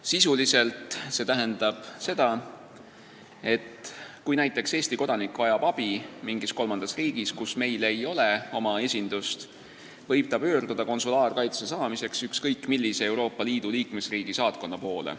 Sisuliselt see tähendab seda, et kui näiteks Eesti kodanik vajab abi mingis kolmandas riigis, kus meil ei ole oma esindust, võib ta pöörduda konsulaarkaitse saamiseks ükskõik millise Euroopa Liidu liikmesriigi saatkonna poole.